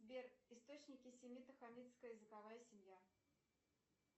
сбер источники семито хамитская языковая семья